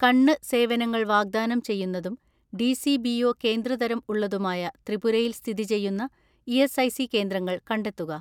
"കണ്ണ് സേവനങ്ങൾ വാഗ്‌ദാനം ചെയ്യുന്നതും ഡി.സി.ബി.ഒ കേന്ദ്ര തരം ഉള്ളതുമായ ത്രിപുരയിൽ സ്ഥിതി ചെയ്യുന്ന ഇ.എസ്.ഐ.സി കേന്ദ്രങ്ങൾ കണ്ടെത്തുക."